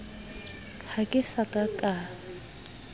ha ke sa ka ka